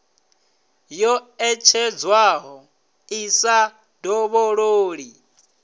yo ṋetshedzwaho i sa dovhololi